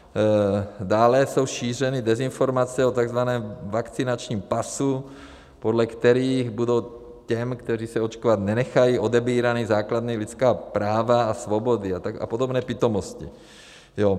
Dále jsou šířeny dezinformace o tzv. vakcinačním pasu, podle kterých budou těm, kteří se očkovat nenechají, odebírána základní lidská práva a svobody a podobné pitomosti.